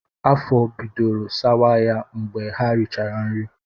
Afọ bidoro sawa ha mgbe ha richara nri